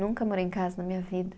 Nunca morei em casa na minha vida.